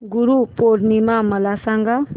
गुरु पौर्णिमा मला सांग